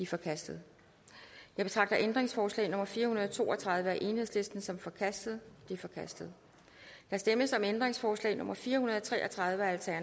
forkastet jeg betragter ændringsforslag nummer fire hundrede og to og tredive af el som forkastet det er forkastet der stemmes om ændringsforslag nummer fire hundrede og tre og tredive